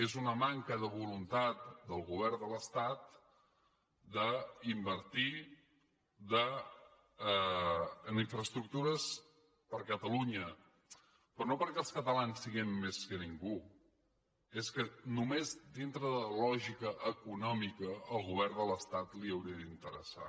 és una manca de voluntat del govern de l’estat d’invertir en infraestructures per a catalunya però no perquè els catalans siguem més que ningú és que només dintre de la lògica econòmica al govern de l’estat li hauria d’interessar